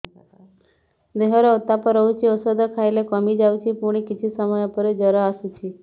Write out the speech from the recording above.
ଦେହର ଉତ୍ତାପ ରହୁଛି ଔଷଧ ଖାଇଲେ କମିଯାଉଛି ପୁଣି କିଛି ସମୟ ପରେ ଜ୍ୱର ଆସୁଛି